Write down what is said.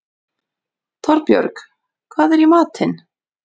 Torbjörg, hvað er í matinn?